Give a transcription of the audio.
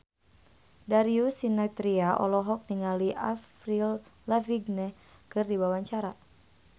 Darius Sinathrya olohok ningali Avril Lavigne keur diwawancara